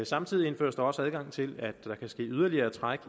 samtidig indføres der også adgang til at der kan ske yderligere træk